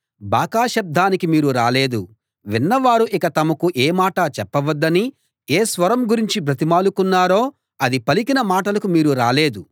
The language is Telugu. బాకా శబ్దానికి మీరు రాలేదు విన్నవారు ఇక తమకు ఏ మాటా చెప్పవద్దని ఏ స్వరం గురించి బ్రతిమాలుకున్నారో అది పలికిన మాటలకు మీరు రాలేదు